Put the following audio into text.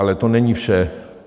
Ale to není vše.